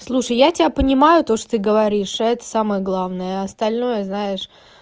слушай я тебя понимаю то что ты говоришь это самое главное а остальное знаешь